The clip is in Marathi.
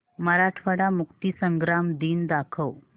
मराठवाडा मुक्तीसंग्राम दिन दाखव